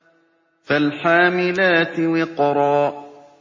فَالْحَامِلَاتِ وِقْرًا